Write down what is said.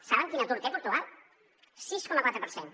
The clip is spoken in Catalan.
saben quin atur té portugal el sis coma quatre per cent